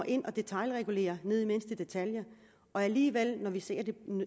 ind og detailregulere ned i mindste detalje og alligevel når vi ser at det